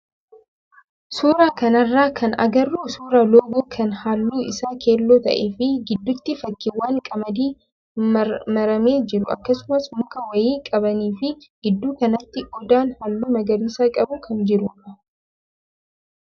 suuraa kanarraa kan agarru suuraa loogoo kan halluun isaa keelloo ta'ee fi gidduutti fakkiiwwan qamadii maramee jiru akkasumas muka wayii qabanii fi gidduu kanaatti odaan halluu magariisa qabu kan jirudha.